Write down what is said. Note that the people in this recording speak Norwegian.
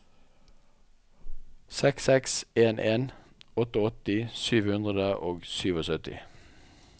seks seks en en åttiåtte sju hundre og syttisju